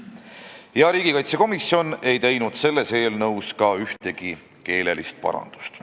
Ka riigikaitsekomisjon ei teinud selles eelnõus ühtegi keelelist parandust.